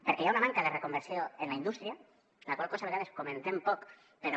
perquè hi ha una manca de reconversió en la indústria la qual cosa a vegades comentem poc però